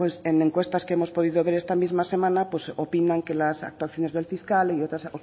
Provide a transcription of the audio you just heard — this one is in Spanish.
en encuestas que hemos podido ver esta misma semana pues opinan que las actuaciones del fiscal y otras